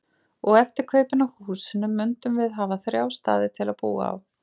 Og eftir kaupin á húsinu mundum við hafa þrjá staði til að búa á.